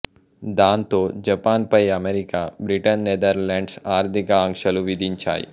దాంతో జపాన్ పై America Britain Netherlands ఆర్థిక ఆంక్షలు విధించాయి